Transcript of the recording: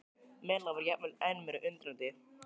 Milla var jafnvel enn meira undrandi.